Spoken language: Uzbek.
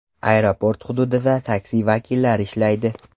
Aeroport hududida taksi vakillari ishlaydi.